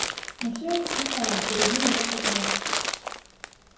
но всё это пустая перебил его прокурор